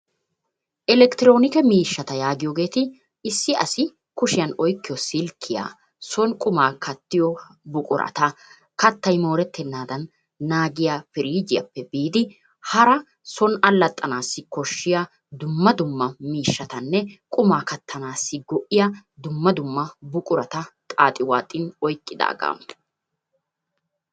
Elekktronikke miishshata yaagiyogeeti issi asi kushiyan oykkiyo silkkiya, soon qummaa kattiyo buqurata, kattay mooreettenaadan naagiya pirjjiyaappe biidi hara soon allaxxanaassi koshiya dumma dumma miishshaatanne qummaa kattanassi go'iya dumma dumma buqurata xaaxi waaxin oyqqidaaga.